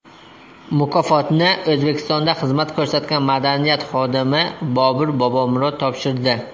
Mukofotni O‘zbekistonda xizmat ko‘rsatgan madaniyat xodimi Bobur Bobomurod topshirdi.